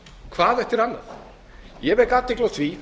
hvað eftir annað ég get athygli á því